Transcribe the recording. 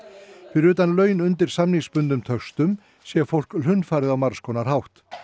fyrir utan laun undir samningsbundnum töxtum sé fólk hlunnfarið á margs konar hátt